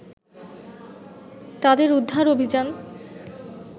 তাদের উদ্ধার অভিযান